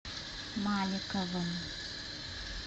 маликовым